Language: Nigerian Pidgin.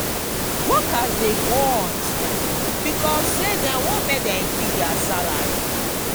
workers de go on strike becauae say dem want make dem increase their salary